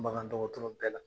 Bakan dɔgɔtɔrɔ bɛɛ la